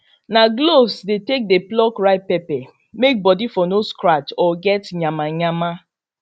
na gloves dey take dey pluck ripe pepper may body for no scratch or get nyamanyama